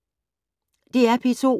DR P2